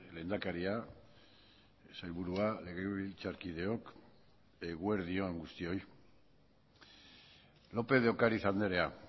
lehendakaria sailburua legebiltzarkideok eguerdi on guztioi lópez de ocáriz andrea